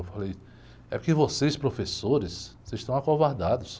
Eu falei, é que vocês, professores, vocês estão acovardados.